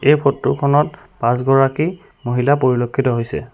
এই ফটোখনত পাঁচ গৰাকী মহিলা পৰিলক্ষিত হৈছে।